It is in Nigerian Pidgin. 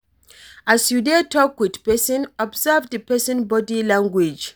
As you dey talk with person, observe di person body language